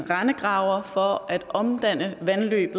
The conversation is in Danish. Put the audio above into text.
rendegravere for at omdanne vandløb